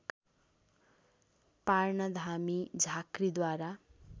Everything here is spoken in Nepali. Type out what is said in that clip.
पार्न धामी झाँक्रिद्वारा